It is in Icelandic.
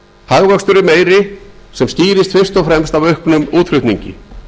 hagvöxtur er meiri sem skýrist fyrst og fremst af auknum útflutningi